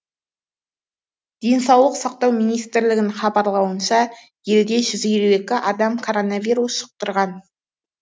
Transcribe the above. денсаулық сақтау министрлігінің хабарлауынша елде жүз елу екі адам коронавирус жұқтырған